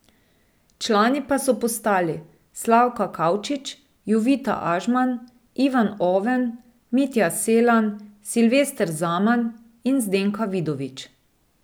Člani pa so postali Slavka Kavčič, Jovita Ažman, Ivan Oven, Mitja Selan, Silvester Zaman in Zdenka Vidovič.